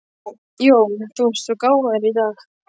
JÓN: Þú ert svo gáfaður í dag.